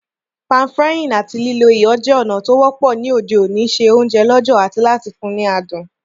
Pan-frying áti lílo iyọ̀ je ònà to wọ́pọ́ ni òde òní se ounje lọ̀jọ̀ ati láti fun ni adùn